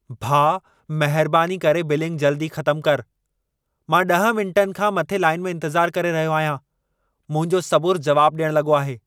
भाउ, महिरबानी करे बिलिंग जल्दी ख़तम कर! मां 10 मिंटनि खां मथे लाइन में इंतज़ार करे रहियो आहियां। मुंहिंजो सबुर जवाब ॾियण लॻो आहे।